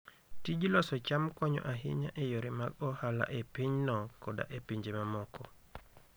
Tij loso cham konyo ahinya e yore mag ohala e pinyno koda e pinje mamoko.